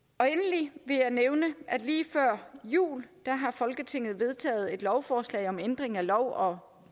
endelig vil jeg nævne at lige før jul har folketinget vedtaget et lovforslag om ændring af lov om